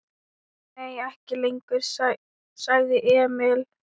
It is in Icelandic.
Nei, ekki lengur, sagði Emil.